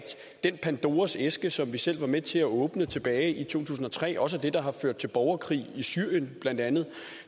den pandoras æske som vi selv var med til at åbne tilbage i to tusind og tre også er det der har ført til borgerkrig i syrien blandt andet